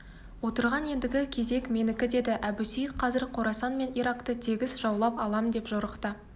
отырған ендігі кезек менікі деді әбусейіт қазір қорасан мен иракты тегіс жаулап алам деп жорықта